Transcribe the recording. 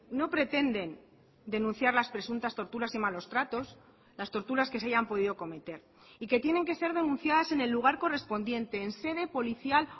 no pretenden denunciar las presuntas torturas y malos tratos las torturas que se hayan podido cometer y que tienen que ser denunciadas en el lugar correspondiente en sede policial